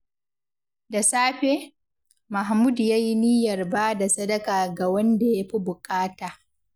Da safe, Mahmud ya yi niyyar ba da sadaka ga wanda ya fi buƙata.